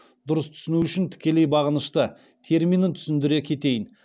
дұрыс түсіну үшін тікелей бағынышты терминін түсіндіре кетейін